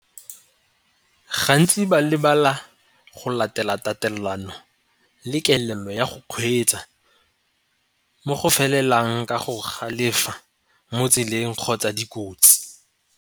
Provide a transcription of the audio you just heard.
Gantsi ba lebala go latela tatelano le kelello ya go kgweetsa mo go felelang ka go galefela mo tseleng kgotsa dikotsi.